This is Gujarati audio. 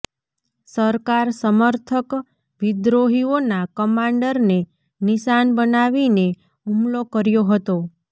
સરકાર સમર્થક વિદ્રોહીઓના કમાંડરને નિશાન બનાવીને હુમલો કર્યો હતો